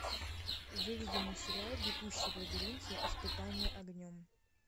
выведи мне сериал бегущий в лабиринте испытание огнем